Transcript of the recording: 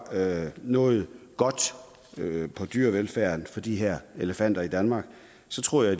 noget godt dyrevelfærdsmæssigt for de her elefanter i danmark så tror jeg